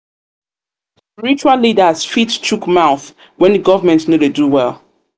leaders fit chook mouth when governemnt no dey do well